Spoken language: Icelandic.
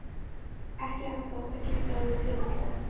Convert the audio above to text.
Ekki ennþá en það gæti orðið fljótlega.